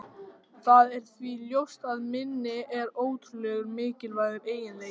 Það er því ljóst að minni er ótrúlega mikilvægur eiginleiki.